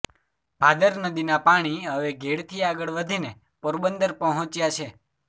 ભાદર નદીનાં પાણી હવે ઘેડથી આગળ વધીને પોરબંદર પહોંચ્યાં છે